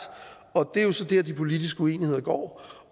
det er så der de politiske uenigheder går